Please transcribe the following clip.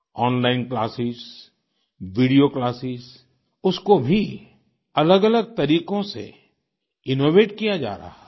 online classes video classes उसको भी अलगअलग तरीकों से इनोवेट किया जा रहा है